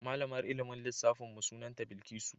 Malamar ilmin lissafin mu sunanta Bilkisu.